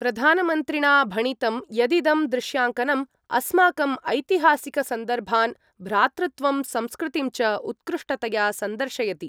प्रधानमन्त्रिणा भणितं यदिदं दृश्याङ्कनम् अस्माकम् ऐतिहासिकसन्दर्भान्, भ्रातृत्वं संस्कृतिं च उत्कृष्टतया सन्दर्शयति।